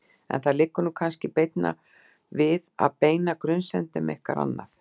En það liggur nú kannski beinna við að beina grunsemdum ykkar annað.